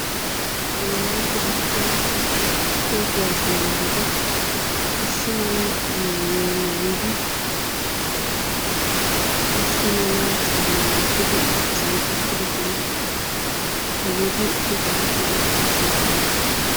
Wolaytta dichcja toho kuwassiya yarati issi mala maayuwa maayyidi, issi mala caama wottidi issisan eqqidoosona. Hageeti issisa shiiqidi ayssi eqqidoona?